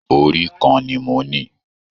Orí kàn ní mó ní.